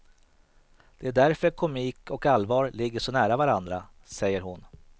Det är därför komik och allvar ligger så nära varandra, säger hon.